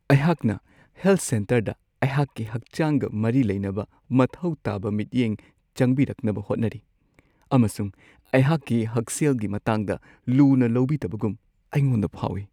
ꯑꯩꯍꯥꯛꯅ ꯍꯦꯜꯊ ꯁꯦꯟꯇꯔꯗ ꯑꯩꯍꯥꯛꯀꯤ ꯍꯛꯆꯥꯡꯒ ꯃꯔꯤ ꯂꯩꯅꯕ ꯃꯊꯧ ꯇꯥꯕ ꯃꯤꯠꯌꯦꯡ ꯆꯪꯕꯤꯔꯛꯅꯕ ꯍꯣꯠꯅꯔꯤ, ꯑꯃꯁꯨꯡ ꯑꯩꯍꯥꯛꯀꯤ ꯍꯛꯁꯦꯜꯒꯤ ꯃꯇꯥꯡꯗ ꯂꯨꯅ ꯂꯧꯕꯤꯗꯕꯒꯨꯝ ꯑꯩꯉꯣꯟꯗ ꯐꯥꯎꯋꯤ ꯫